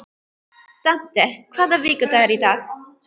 Dante, hvaða vikudagur er í dag?